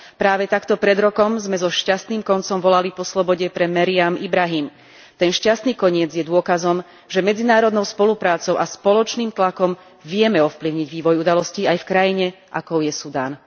Práve takto pred rokom sme so šťastným koncom volali po slobode pre Meriam Ibrahim. Ten šťastný koniec je dôkazom, že medzinárodnou spoluprácou a spoločným tlakom vieme ovplyvniť vývoj udalostí aj v krajine, akou je Sudán.